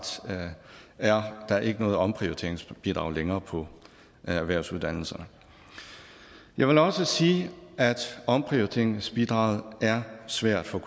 er der ikke noget omprioriteringsbidrag længere på erhvervsuddannelserne jeg vil også sige at omprioriteringsbidraget er svært for